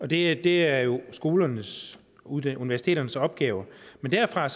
det det er jo universiteternes opgave men derfra